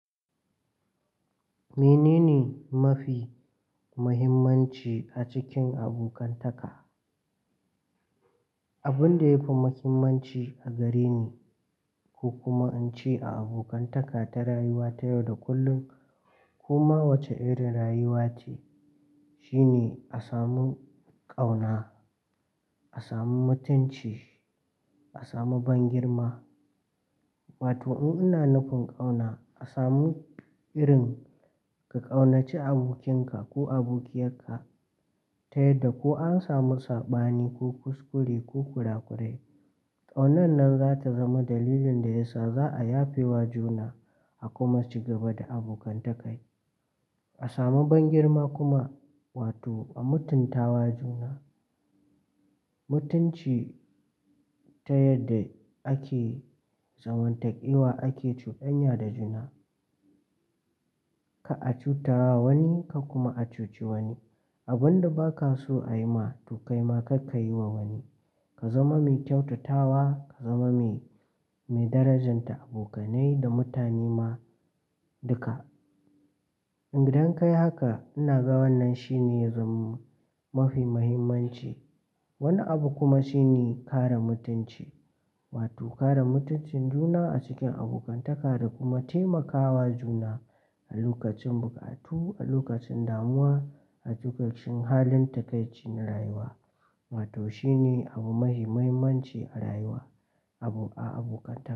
Menene mafi muhimmanci a cikin abokantaka? Abin da yafi muhimmanci a gare ni ko kuma in ce a abokantaka ta rayuwa ta yau da kullum, koma wace irin rayuwa ce, shine a samu ƙauna, a samu mutunci, a samu bangirma. Wato in ina nufin ƙauna, a samu irin ka ƙaunaci abokinka ko abokiyarka ta yadda ko an samu sabani ko kuskure ko kurakurai. Ƙaunan nan za ta zama dalilin da ya sa za a yafe wa juna a kuma ci gaba da abokantaka. A samu bangirma kuma, wato a mutuntawa juna. Mutunci Ta yadda ake zamantakewa ake cuɗanya da juna. Ka a cutar wa wani ka kuma a cuci wani. Abin da ba ka so a yi ma to kai ma kar kayi wa wani. Ka zama mai kyautatawa, ka zama mai, mai darajanta abokanai da mutane ma duka. In gidan ka yi haka ina ga wannan shine zum mafi muhimmanci. Wani abu kuma shine kare mutunci, wato kare mutuncin juna a cikin abokantaka da kuma taimakawa juna a lokacin buƙatu, a lokacin damuwa, a lokacin halin takaici na rayuwa. Wato shine abu mai muhimmanci a rayuwa, abu a abokantaka.